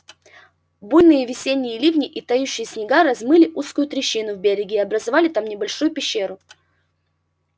буйные весенние ливни и тающие снега размыли узкую трещину в береге и образовали там небольшую пещеру